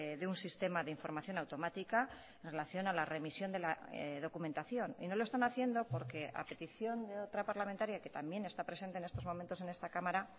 de un sistema de información automática en relación a la remisión de la documentación y no lo están haciendo porque a petición de otra parlamentaria que también está presente en estos momentos en esta cámara